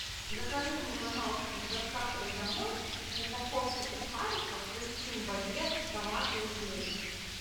закажи мне пожалуйста с доставкой домой упаковку сухариков хрустим багет томаты и зелень